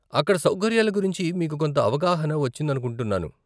అక్కడ సౌకర్యాల గురించి మీకు కొంత అవగాహన వచ్చిందనుకుంటున్నాను.